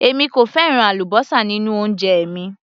Èmi kò fẹ́ràn àlúbósà nínú oúnjẹ mi